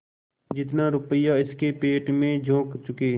जितना रुपया इसके पेट में झोंक चुके